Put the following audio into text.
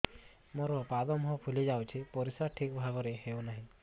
ମୋର ପାଦ ମୁହଁ ଫୁଲି ଯାଉଛି ପରିସ୍ରା ଠିକ୍ ଭାବରେ ହେଉନାହିଁ